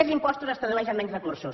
més impostos es tradueix en menys recursos